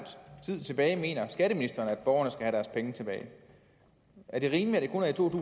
tid tilbage mener skatteministeren at borgerne have deres penge tilbage er det rimeligt